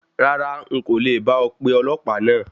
Rárá, n kò le bá ọ pe ọlọ̀pàá náà.